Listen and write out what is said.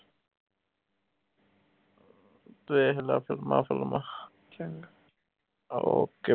ਵੇਖ ਲਾ ਫ਼ਿਲਮਾਂ ਫੁਲਮਾਂ okay